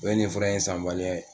O bɛɛ ye nin fura in sanbaliya ye